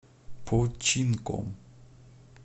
починком